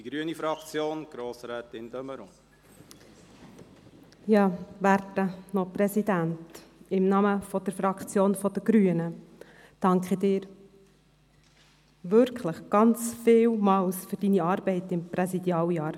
Werter Noch-Präsident, im Namen der Fraktion der Grünen danke ich Ihnen wirklich vielmals für Ihre Arbeit während Ihres Präsidialjahrs.